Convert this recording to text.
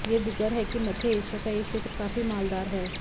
यह दीगर है कि मध्य एशिया का यह क्षेत्र काफी मालदार है